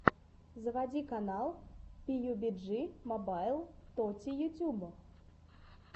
заводи канал пиюбиджи мобайл тоти ютуб